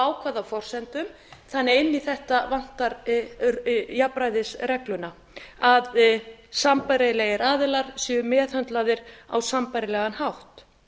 hvaða forsendum þannig að inn í þetta vantar jafnræðisregluna að sambærilegir aðilar séu meðhöndlaðir á sambærilegan hátt